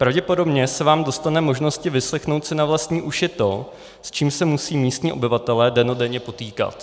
Pravděpodobně se vám dostane možnosti vyslechnout si na vlastní uši to, s čím se musí místní obyvatelé dennodenně potýkat.